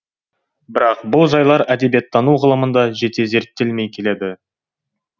бірақ бұл жайлар әдебиеттану ғылымында жете зерттелмей келеді